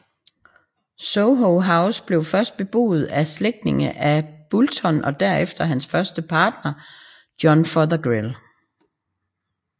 Soho House blev først beboet af slægtninge af Boulton og derefter at hans første partner John Fothergill